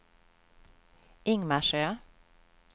Ingmarsö